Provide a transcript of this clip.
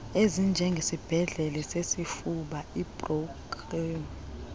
ezinjengesibhedlele sesifuba ibrooklyn